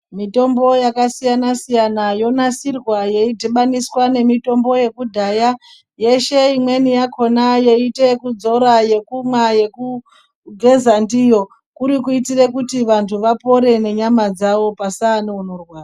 Mitombo yakasiyana siyana yonasirwa yeidhibhaniswa nemitombo yekudhaya yeshe imweni yakonayo ingaite yekudzora, yekumwa, yekugeza ndiyo kuti kuitira kuti vanhu vapone nenyama dzavo pasava neunorwara.